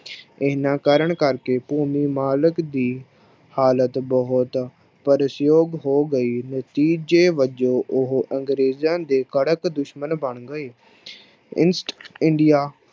ਇਹਨਾਂ ਕਾਰਨ ਕਰਕੇ ਭੂਮੀ ਮਾਲਕ ਦੀ ਹਾਲਤ ਬਹੁਤ ਤਰਸਯੋਗ ਹੋ ਗਈ, ਨਤੀਜੇ ਵਜੋਂ ਉਹ ਅੰਗਰੇਜ਼ਾਂ ਦੇ ਕੱਟੜ ਦੁਸ਼ਮਣ ਬਣ ਗਏ east india